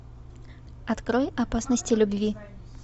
открой опасности любви